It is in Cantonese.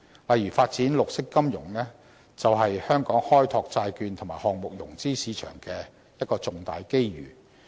例如發展綠色金融，便是香港開拓債券及項目融資市場的一個重大機遇。